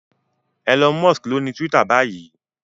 Elon Musk lóni Twitter báyìí.